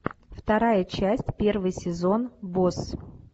вторая часть первый сезон босс